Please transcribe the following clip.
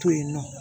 To yen nɔ